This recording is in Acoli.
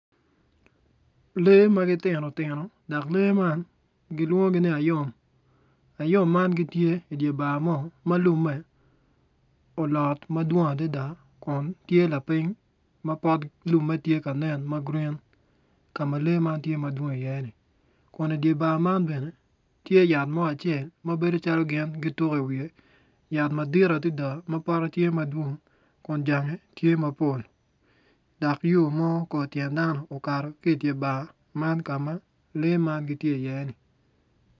Lee ma gitino tino dok lee man gilwongi ni ayom, ayom man gitye i di bar mo ma lumme ulot ma dwong adida kun tye lapiny ma pot lumme tye ka nen ma gurin ka ma lee man tye madwong iye ni kun idyer bar man bene tye yat ma acel ma bedo calo gin gituku iwiye yat madit adida ma pote tye madwong kun cange tye mapol dok yo mo kor tyen dano okato ki iye ki idyer bar kama lee man tye iye-ni